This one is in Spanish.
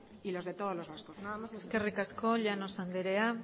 y los de todos los vascos nada más y muchas gracias eskerrik asko llanos anderea